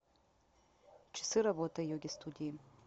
часы работы йоги студии